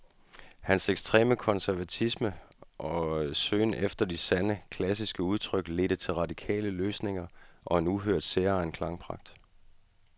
Hans ekstreme konservatisme og søgen efter det sande, klassiske udtryk ledte til radikale løsninger og en uhørt, særegen klangpragt.